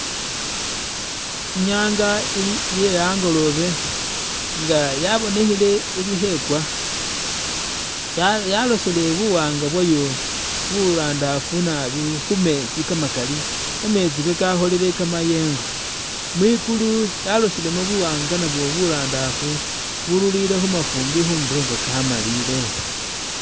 I'nyanga ili iye angolobe nga yabonikhile ili khekwa, yalosile buwaanga bwayo burandafu nabi khu metsi kamakali, kametsi kakakholile kamayengo, mwikulu yalosilemu buwanga nabwo burandaafu buruurire khu mafumbi khundulo nga kamalile.